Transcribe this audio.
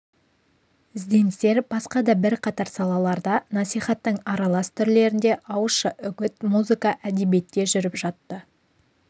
ізденістер басқа да бірқатар салаларда насихаттың аралас түрлерінде ауызша үгіт музыка әдебиетте жүріп жатты